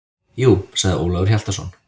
Jú, sagði Ólafur Hjaltason.